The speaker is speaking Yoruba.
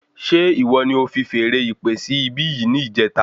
Ṣe ìwọ ní o fi feèrè ìpè sí ibi yìí ní ìjẹta